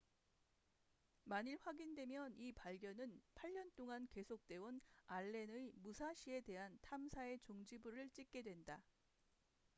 만일 확인되면 이 발견은 8년 동안 계속돼온 알렌의 무사시에 대한 탐사의 종지부를 찍게 된다